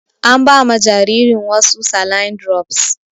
An ba ma jaririn wasu saline drops.